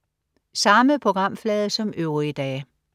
Samme programflade som øvrige dage